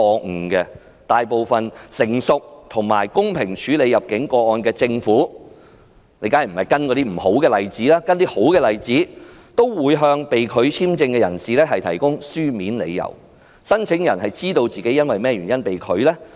事實上，大部分成熟及公平處理入境個案的政府——當然不要跟隨不好的做法而是好的做法——都會向被拒簽證的人士提供書面理由，讓他知道自己因甚麼原因被拒入境。